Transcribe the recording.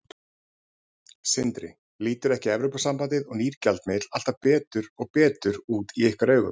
Sindri: Lítur ekki Evrópusambandið og nýr gjaldmiðill alltaf betur og betur út í ykkar augum?